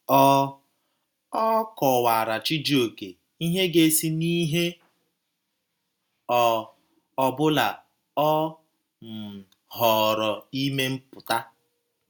Ọ Ọ kọwaara Chijioke ihe ga - esi n’ihe ọ ọbụla ọ um họọrọ ime pụta.